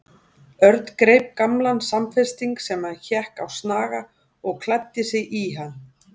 Örn greip gamlan samfesting sem hékk á snaga og klæddi sig í hann.